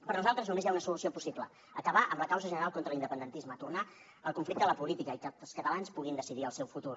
per nosaltres només hi ha una solució possible acabar amb la causa general contra l’independentisme tornar el conflicte a la política i que els catalans puguin decidir el seu futur